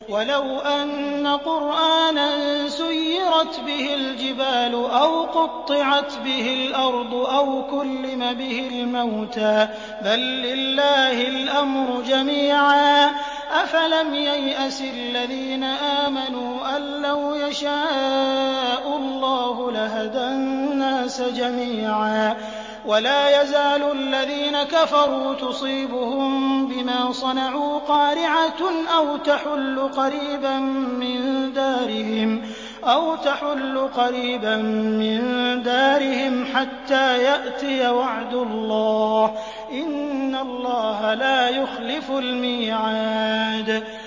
وَلَوْ أَنَّ قُرْآنًا سُيِّرَتْ بِهِ الْجِبَالُ أَوْ قُطِّعَتْ بِهِ الْأَرْضُ أَوْ كُلِّمَ بِهِ الْمَوْتَىٰ ۗ بَل لِّلَّهِ الْأَمْرُ جَمِيعًا ۗ أَفَلَمْ يَيْأَسِ الَّذِينَ آمَنُوا أَن لَّوْ يَشَاءُ اللَّهُ لَهَدَى النَّاسَ جَمِيعًا ۗ وَلَا يَزَالُ الَّذِينَ كَفَرُوا تُصِيبُهُم بِمَا صَنَعُوا قَارِعَةٌ أَوْ تَحُلُّ قَرِيبًا مِّن دَارِهِمْ حَتَّىٰ يَأْتِيَ وَعْدُ اللَّهِ ۚ إِنَّ اللَّهَ لَا يُخْلِفُ الْمِيعَادَ